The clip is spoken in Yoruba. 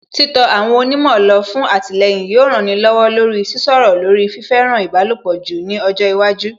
Títọ àwọn onímọ̀ lọ fún àtìlẹyìn yóò rani lọ́wọ́ lórí Sísọ̀rọ̀ lórí fífẹ́ràn ìbálòpọ̀ jù ní ọjọ́ iwájú